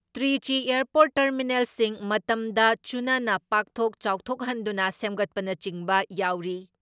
Trichy airport ꯇꯔꯃꯤꯅꯦꯜꯁꯤꯡ ꯃꯇꯝꯗ ꯆꯨꯅꯅ ꯄꯥꯛꯊꯣꯛ ꯆꯥꯎꯊꯣꯛꯍꯟꯗꯨꯅ ꯁꯦꯝꯒꯠꯄꯅꯆꯤꯡꯕ ꯌꯥꯎꯔꯤ ꯫